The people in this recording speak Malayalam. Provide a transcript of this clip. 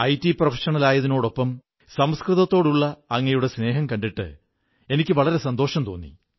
ഐടി പ്രൊഫഷണൽ കൂടിയായ അങ്ങേയ്ക്ക് സംസ്കൃതത്തോടുമുള്ള സ്നേഹം കണ്ടിട്ട് എനിക്ക് വളരെ സന്തോഷം തോന്നി